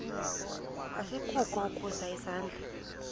asikukho ukusa isandla